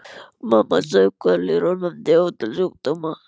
Mamma saup hveljur og nefndi ótal sjúkdóma.